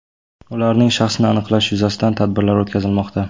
Ularning shaxsini aniqlash yuzasidan tadbirlar o‘tkazilmoqda.